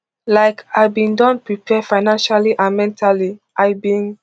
like i bin don prepare financially and mentally i bin